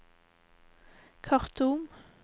Khartoum